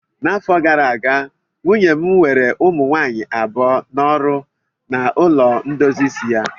N'afọ gara aga, nwunye m were ụmụ nwaanyị abụọ n'ọrụ na ụlọ ndozi isi ya